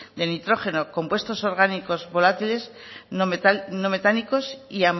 de nitrógeno compuestos orgánicos volátiles no metálicos y